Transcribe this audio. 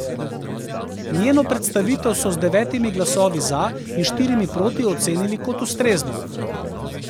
Njeno predstavitev so z devetimi glasovi za in štirimi proti ocenili kot ustrezno.